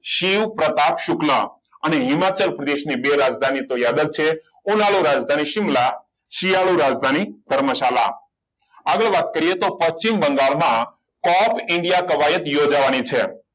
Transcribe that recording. શિવ પ્રતાપ સુખલા અને હિમાચલ પ્રદેશને ની બે રાજધાની તો યાદ જ છે રાજધાની સીમલા સિયાનું રાજધાની પરમશાલા હવે વાત કરીએ તો પશ્ચિમ બંગાળમાં cup india કવાયત યોજવાની છે